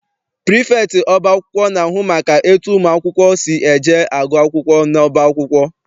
Prifektị ọba akwụkwọ na-ahụ maka etu ụmụ akwụkwọ si eje agụ akwụkwọ n'ọba akwụkwọ.